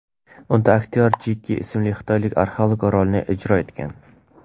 Unda aktyor Jeki ismli xitoylik arxeolog rolini ijro etgan.